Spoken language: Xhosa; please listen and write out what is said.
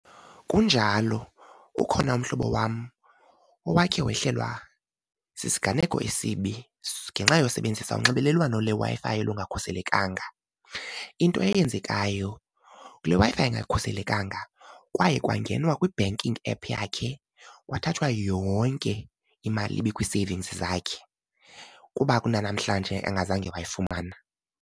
Kunjalo ukhona umhlobo wam owakhe wehlelwa sisiganeko esibi ngenxa yosebenzisa unxibelelwano lweWi-Fi olungakhuselekanga. Into eyenzekayo kule Wi-Fi ingakhuselekanga kwaye kwangenwa kwi-banking app yakhe kwathathwa yonke imali ibikwi-savings zakhe, kuba kunanamhlanje engazange wayifumana.